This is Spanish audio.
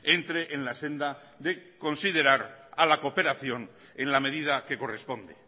entre en la senda de considerar a la cooperación en la medida que corresponde